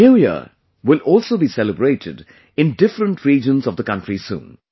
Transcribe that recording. New year will also be celebrated in different regions of the country soon